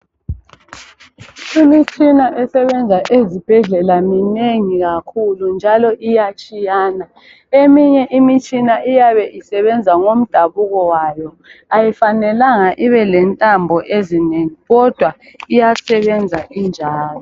Imitshina esebenza ezibhedlela minengi kakhulu njalo iyatshiyana, eminye imitshina iyabe isebenza ngomdabuko wayo ayifanelanga ibe lentambo ezinengi kodwa iyasebenza injalo.